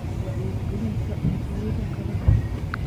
Wacyigelinta Cuntooyinka kala duwan.